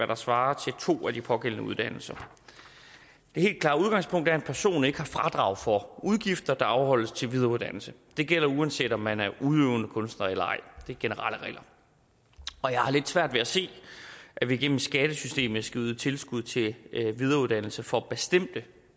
der svarer til to af de pågældende uddannelser det helt klare udgangspunkt er at en person ikke har fradrag for udgifter der afholdes til videreuddannelse det gælder uanset om man er udøvende kunstner eller ej det er generelle regler og jeg har lidt svært ved at se at vi gennem skattesystemet skal yde tilskud til videreuddannelse for bestemte